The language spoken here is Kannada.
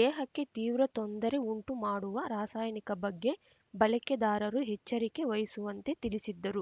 ದೇಹಕ್ಕೆ ತೀವ್ರ ತೊಂದರೆ ಉಂಟುಮಾಡುವ ರಾಸಾಯನಿಕ ಬಗ್ಗೆ ಬಳಕೆದಾರರು ಎಚ್ಚರಿಕೆ ವಹಿಸುವಂತೆ ತಿಳಿಸಿದ್ದರು